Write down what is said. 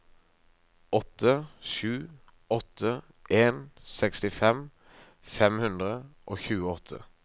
åtte sju åtte en sekstifem fem hundre og tjueåtte